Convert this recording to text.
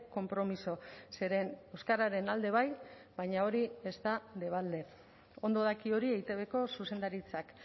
konpromiso zeren euskararen alde bai baina hori ez da debalde ondo daki hori eitbko zuzendaritzak